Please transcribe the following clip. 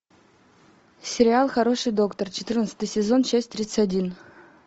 сериал хороший доктор четырнадцатый сезон часть тридцать один